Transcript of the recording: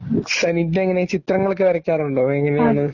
സനീറ്റയെങ്ങനെ ചിത്രങ്ങളൊക്കെ വരയ്ക്കാറുണ്ടോ? എങ്ങനെയാണ്?